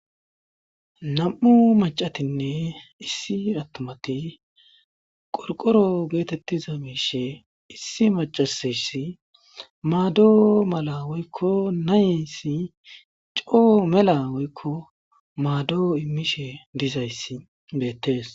Nam'u macatinne issi attumati qorqoro geetettiza miishe issi macasayssi maado mala woykko nayesi coo mela woykko maadoo immishe dizayssi beettees.